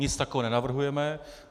Nic takového nenavrhujeme.